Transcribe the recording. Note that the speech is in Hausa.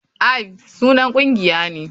Aifd sunan ƙungiya ne.